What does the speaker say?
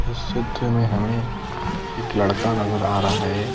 इस चित्र में हमें एक लड़का नजर आ रहा है।